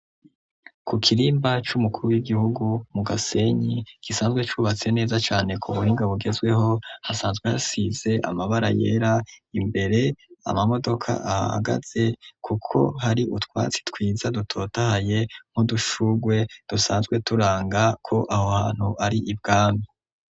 Ku kirimba c'umukuru w'igihugu mu gasenyi gisanzwe cubatse neza cane ku buringa bugezweho hasanzwe hasize amabara yera imbere amamodoka ahagaze, kuko hari utwatsi twiza dutotahaye nko dushurwe dusanzwe turanga ko aho hantu ari ibwami.